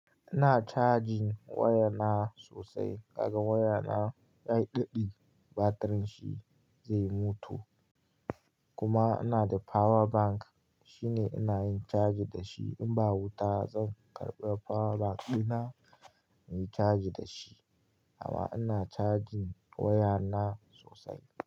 Ina charging waya na sosai, daga waya na yayi ɗiɗi batirin shi zai mutu. Kuma ina da power bank shine ina yin charge dashi in ba wuta zan karɓi power bank ɗina na yi charge da shi. Amma ina charging waya na sosai.